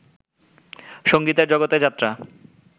সংগীতের জগতে যাত্রা